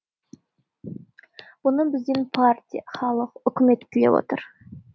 бұны бізден партия халық үкімет тілеп отыр